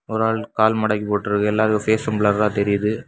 ஒரு ஆள் கால் மடக்கி போட்டு இருக்கு எல்லாரு ஃபேஸ் பில்லரா தெரியுது.